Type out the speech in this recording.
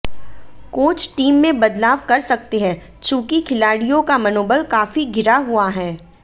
coach team में बदलाव कर सकते हैं चूंकि खिलाडिय़ों का मनोबल काफी गिरा हुआ है